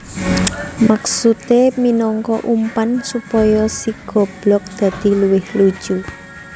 Maksudé minangka umpan supaya si goblog dadi luwih lucu